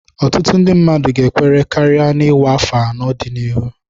Ọtụtụ ndị mmadụ ga-ekwere karịa na ""ịwa ákwà "n'afọ ndị na-abịa."